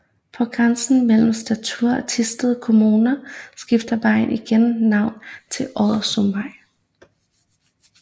På grænsen mellem Struer og Thisted Kommuner skifter vejen igen navn til Oddesundvej